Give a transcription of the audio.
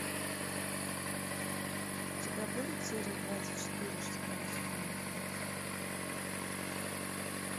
у тебя будет серия двадцать четыре шестого сезона эксы